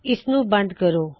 ਇਸ ਨੂੰ ਬੰਦ ਕਰੋ